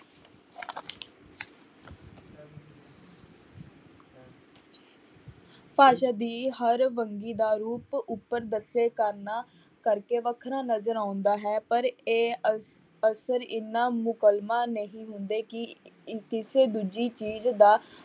ਭਾਸ਼ਾ ਦੀ ਹਰ ਵੰਨਗੀ ਦਾ ਰੂਪ ਉੱਪਰ ਦੱਸੇ ਕਾਰਨਾਂ ਕਰਕੇ ਵੱਖਰਾ ਨਜ਼ਰ ਆਉਂਦਾ ਹੈ ਪਰ ਇਹ ਅ~ ਅਸਰ ਇੰਨਾ ਨਹੀਂ ਹੁੰਦੇ ਕਿ ਦੂਜੀ ਚੀਜ਼ ਦਾ